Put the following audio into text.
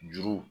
Juru